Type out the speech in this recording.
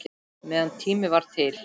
Meðan tími var til.